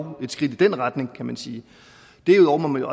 dog et skridt i den retning kan man sige derudover må man